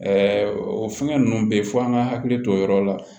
o fɛngɛ ninnu bɛ yen f'an ka hakili to o yɔrɔ la